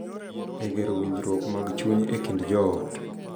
E gero winjruok mag chuny e kind joot.